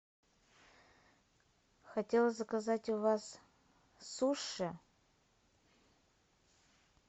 хотела заказать у вас суши